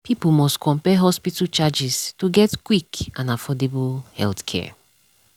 people must compare hospital charges to get quick and affordable healthcare.